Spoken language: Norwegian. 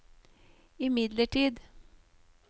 imidlertid